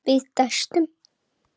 Við dæstum.